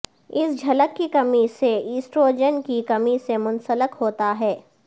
اس جھلک کی کمی سے ایسٹروجن کی کمی سے منسلک ہوتا ہے